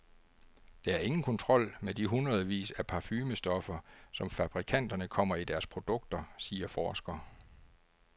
Der er ingen kontrol med de hundredvis af parfumestoffer, som fabrikanterne kommer i deres produkter, siger forsker.